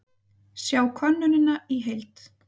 Sjá könnunina í heild